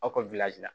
Aw ka